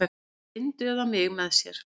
Lindu eða mig með sér.